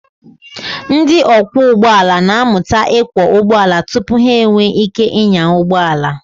Ndị ọkwọ ụgbọala na-amụta ịkwọ ụgbọala tupu ha enwee ike ịnya ụgbọ ala.